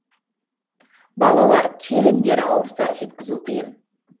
балалар келіндер ауырса жеткізу қиын